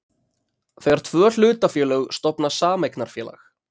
þegar tvö hlutafélög stofna sameignarfélag.